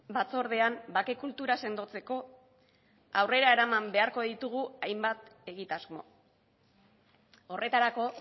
batzordean bake kultura sendotzeko aurrera eraman beharko ditugu hainbat egitasmo horretarako